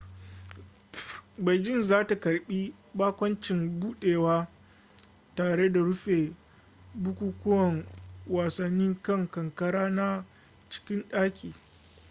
beijing za ta karbi bakoncin budewa tare da rufe bukukuwan wasanni kan kankara na cikin daki